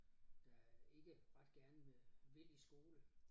Der ikke ret gerne øh vil i skole